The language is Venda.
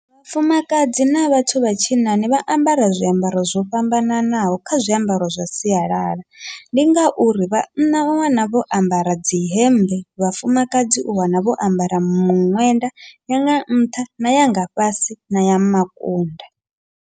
Vhafumakadzi na vhathu vha tshinnani vha ambara zwiambaro zwo fhambananaho kha zwiambaro zwa sialala, ndi ngauri vhanna u wana vho ambara dzi hembe vhafumakadzi u wana vho ambara miṅwenda yanga nṱha na yanga fhasi na ya makunda.